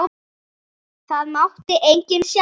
Það mátti enginn sjá það.